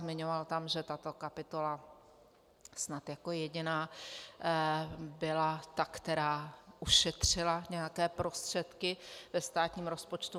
Zmiňoval tam, že tato kapitola snad jako jediná byla ta, která ušetřila nějaké prostředky ve státním rozpočtu.